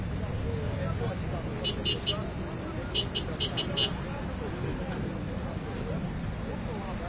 Və bu açıqdan da yəni burda nə istəyirsinizsə, yəni burda nə varsa gəlib yəni maşında burda qoya bilərsiniz.